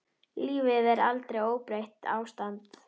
Lífið er aldrei óbreytt ástand.